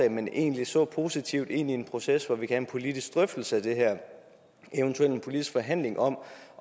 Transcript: at man egentlig ser positivt ind i en proces hvor vi kan have en politisk drøftelse af det her og eventuelt en politisk forhandling om